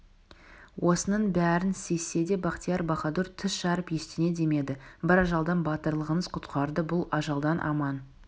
осының бәрін сезсе де бахтияр-баһадур тіс жарып ештеңе демеді бір ажалдан батырлығыңыз құтқарды бұл ажалдан аман